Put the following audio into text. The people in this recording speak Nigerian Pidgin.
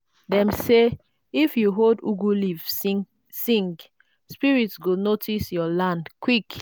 dem say if you hold ugu leaf sing spirits go notice your land quick.